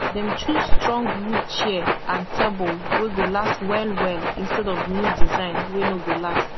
dem choose strong wood chair and tabol wey go last wellwell instead of new design wey nor go last